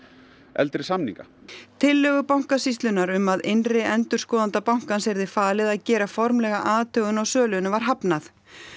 eldri samnings tillögu Bankasýslunnar um að innri endurskoðanda bankans yrði falið að gera formlega athugun á sölunni var hafnað